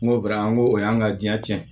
N go kɛra an ko o y'an ka diɲɛ cɛn